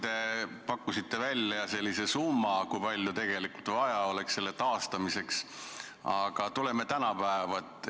Te pakkusite välja summa, kui palju oleks tegelikult vaja selle olukorra taastamiseks, aga tuleme tänapäeva.